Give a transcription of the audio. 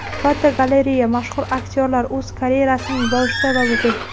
Fotogalereya: Mashhur aktyorlar o‘z karyerasining boshida va bugun.